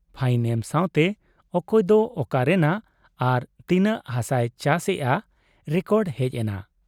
Fine ᱮᱢ ᱥᱟᱶᱛᱮ ᱚᱠᱚᱭ ᱫᱚ ᱚᱠᱟ ᱨᱮᱱᱟᱜ ᱟᱨ ᱛᱤᱱᱟᱹᱜ ᱦᱟᱥᱟᱭ ᱪᱟᱥᱮᱜ ᱟ , ᱨᱮᱠᱚᱰ ᱦᱮᱡ ᱮᱱᱟ ᱾